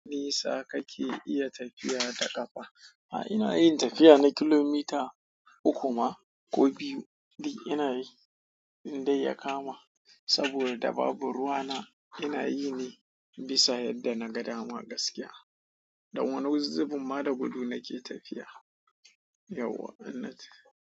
Nisa ka ke iya tafiya da ƙafa? A'a, ina yin tafiya na kilomita uku ma ko biyu. Duk ina yi in dai ya kama, saboda babu ruwa na ina yi ne bisa yadda na ga dama gaskiya. Da wani wuzuzzi bumma da gudu nake tafiya, yau annati.